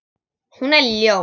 Hún er ljón.